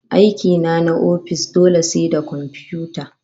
Aiki na na ofis dole sai da komfiyuta